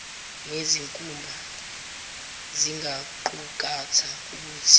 nezinkumba zingaqukatha ubuthi